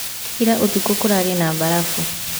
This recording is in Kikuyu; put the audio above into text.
Ira ũtukũ kũrarĩ na mbarafu